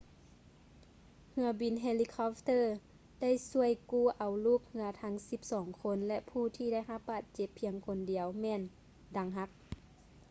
ເຮືອບິນເຮລິຄອບເຕີໄດ້ຊ່ວຍກູ້ເອົາລູກເຮືອທັງສິບສອງຄົນ ແລະ ຜູ້ທີ່ໄດ້ຮັບບາດເຈັບພຽງຄົນດຽວແມ່ນດັງຫັກ